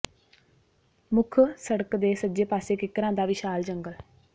ਮੁੱਖ ਸੜਕ ਦੇ ਸੱਜੇ ਪਾਸੇ ਕਿੱਕਰਾਂ ਦਾ ਵਿਸ਼ਾਲ ਜੰਗਲ